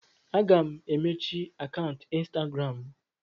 Aga m emechi akaụntụ Instagram m.